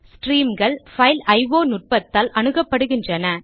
ஸ்ட்ரீம்கள் file IO நுட்பத்தால் அணுகப்படுகின்றன